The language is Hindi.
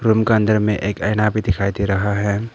रूम का अंदर में एक आईना भी दिखाई दे रहा है।